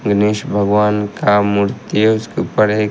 गनेश भगवान का मूर्ति है उसके ऊपर एक--